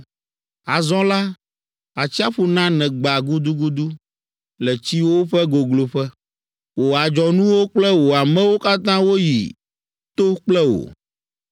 Azɔ la, atsiaƒu na nègba gudugudu le tsiwo ƒe gogloƒe, wò adzɔnuwo kple wò amewo katã woyi to kple wò.